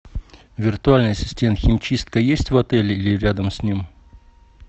виртуальный ассистент химчистка есть в отеле или рядом с ним